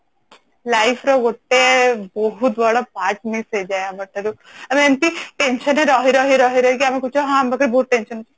life ର ଗୋଟେ ବହୁତ୍ ବଡ part miss ହେଇଯାଏ ଆମଠାରୁ ଆଉ ଏମିତି tension ରେ ରହି ରହି ରହି ରହି କି ଆମେ କହୁଛୁ ହଁ ମତେ ବହୁତ tension